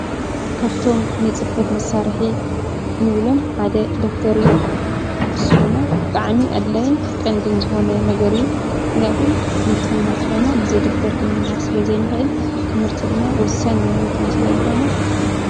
ካብቶም ንፅሕፈት መሳርሒ ንብሎም ሓደ ደፍተር እዩ፡፡ ንሱ ድማ ብጣዕሚ ኣድላይን ቀንድን ዝኾነ ነገር እዩ፡፡ ምኽንያቱ ትምህርቲ ክንምሃር እንተኾይንና ብዘይ ደፍተር ክንምሃር ስለዘይንኽእል ትምህርቲ ድማ ወሳኒ ንሂወትና ስለዝኾነ።